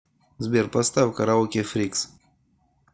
сбер поставь караоке фрикс